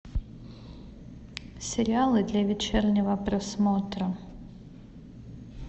сериалы для вечернего просмотра